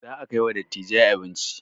Za a kai wa dattijai abinci